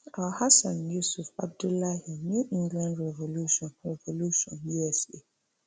alhassan yusuf abdullahi new england revolution revolution usa